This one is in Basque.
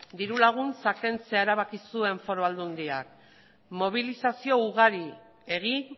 diru laguntza kentzea erabaki zuen foru aldundiak mobilizazio ugari egin